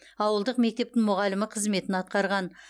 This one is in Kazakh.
ауылдық мектептің мұғалімі қызметін атқарған